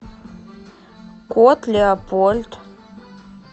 кот леопольд